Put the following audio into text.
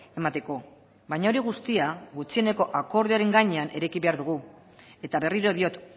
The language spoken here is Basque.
emateko baina hori guztia gutxieneko akordioaren gainean eraiki behar dugu eta berriro diot